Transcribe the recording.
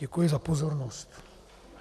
Děkuji za pozornost.